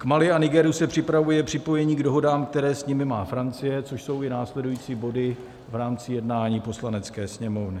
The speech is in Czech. K Mali a Nigeru se připravuje připojení k dohodám, které s nimi má Francie, což jsou i následující body v rámci jednání Poslanecké sněmovny.